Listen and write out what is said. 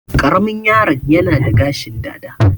Ƙaramin yaro'n yana da gashin dada.